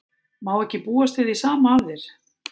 Má ekki búast við því sama af þér?